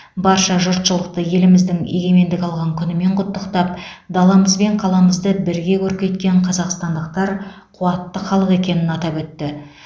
барша жұртшылықты еліміздің егемендік алған күнімен құттықтап даламыз бен қаламызды бірге көркейткен қазақстандықтар қуатты халық екенін атап өтті